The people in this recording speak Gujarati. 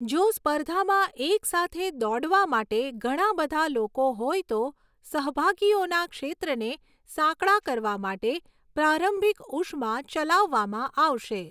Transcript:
જો સ્પર્ધામાં એક સાથે દોડવા માટે ઘણા બધા લોકો હોય તો, સહભાગીઓના ક્ષેત્રને સાંકડા કરવા માટે પ્રારંભિક ઉષ્મા ચલાવવામાં આવશે.